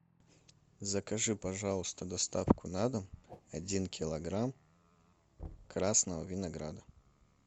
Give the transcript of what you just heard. закажи пожалуйста доставку на дом один килограмм красного винограда